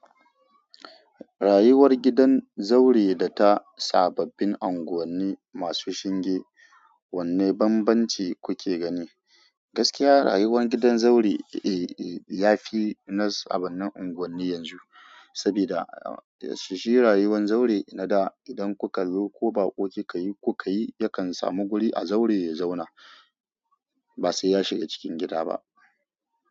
Rayuwar gidan zaure data sababbin anguwanni masu shinge wanne banbanci kuke gani. Gaskiya rayuwar gidan zaure, eh, eh, yafi na sabbanin unguwanni yanzu. Sabida a, shi rayuwan zaure na da idan kuka zo ko bakoki kikayi, kuka yi yakan samu guri a zaure ya zauna. Ba sai ya shiga cikin gida ba.